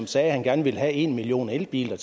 sagde at han gerne ville have en million elbiler